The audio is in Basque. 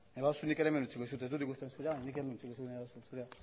nahi baduzu nik ere hemen utziko dizut ez dut ikusten zurea nik hemen utziko dizut nahi baduzu